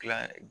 Kila